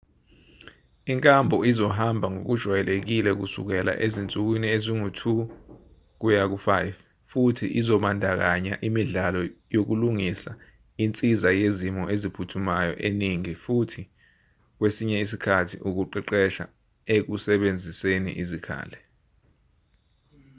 inkambo izohamba ngokujwayelekile kusukela ezinsukwini ezingu-2-5 futhi izobandakanya imidlalo yokulingisa insiza yezimo eziphuthumayo eningi futhi kwesinye isikhathi ukuqeqeshwa ekusebenziseni izikhali .